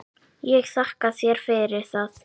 Ég þakka þér fyrir það.